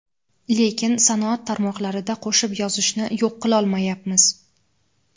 lekin sanoat tarmoqlarida qo‘shib yozishni yo‘q qilolmayapmiz.